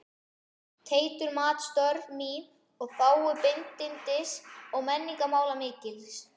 Teitur mat störf mín í þágu bindindis- og menningarmála mikils.